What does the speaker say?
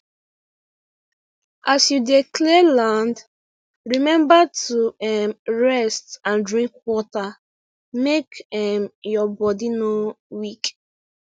as you dey clear land remember to um rest and drink water make um your body no weak